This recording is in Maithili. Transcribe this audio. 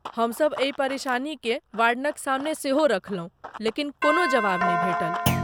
हमसभ एहि परेशानीकेँ वार्डनक सामने सेहो रखलहुँ लेकिन कोनो जवाब नहि भेटल।